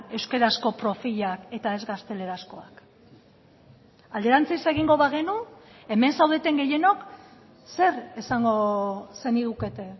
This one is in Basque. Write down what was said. euskarazko profilak eta ez gaztelerazkoak alderantziz egingo bagenu hemen zaudeten gehienok zer esango zenigukete